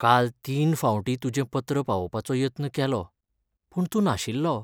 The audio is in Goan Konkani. काल तीन फावटीं तुजें पत्र पावोवपाचो यत्न केलो, पूण तूं नाशिल्लो.